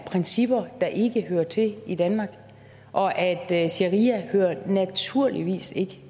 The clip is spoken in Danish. principper der ikke hører til i danmark og at at sharia naturligvis ikke